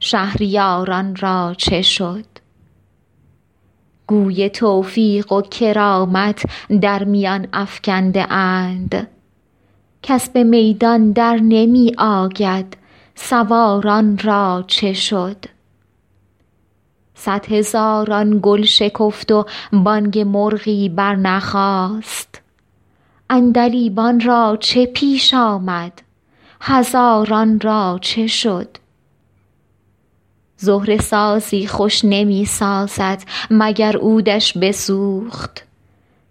شهریار ان را چه شد گوی توفیق و کرامت در میان افکنده اند کس به میدان در نمی آید سوار ان را چه شد صدهزاران گل شکفت و بانگ مرغی برنخاست عندلیبان را چه پیش آمد هزاران را چه شد زهره سازی خوش نمی سازد مگر عود ش بسوخت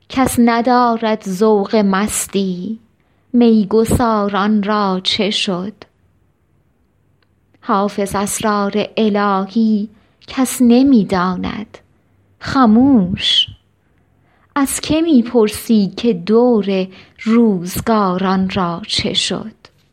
کس ندارد ذوق مستی می گسار ان را چه شد حافظ اسرار الهی کس نمی داند خموش از که می پرسی که دور روزگار ان را چه شد